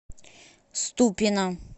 ступино